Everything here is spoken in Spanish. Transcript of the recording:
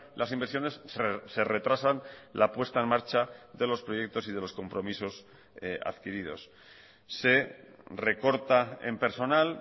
las inversiones se retrasan la puesta en marcha de los proyectos y de los compromisos adquiridos se recorta en personal